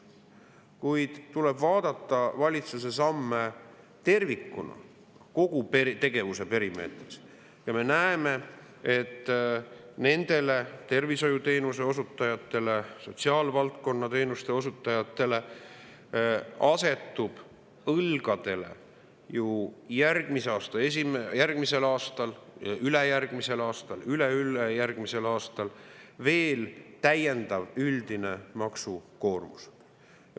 Kuid tuleb vaadata valitsuse samme tervikuna, kogu tegevuse perimeetris, ja me näeme, et tervishoiuteenuste ja sotsiaalvaldkonna teenuste osutajatele asetub õlgadele ju järgmisel aastal, ülejärgmisel aastal, üle-ülejärgmisel aastal veel täiendav üldine maksukoormus.